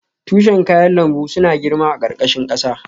Tushen kayan lambu suna girma a ƙarƙashin ƙasa.